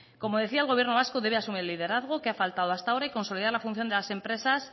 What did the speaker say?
como decía el gobierno vasco debe asumir el liderazgo que ha faltado hasta ahora y consolidar la función de las empresas